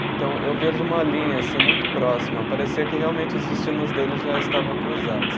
Então, eu vejo uma linha assim muito próxima, parecia que realmente os destinos deles já estavam cruzados.